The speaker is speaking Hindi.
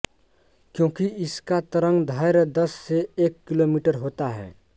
क्योंकि इसका तरंग दैर्घ्य दस से एक किलोमीटर होता है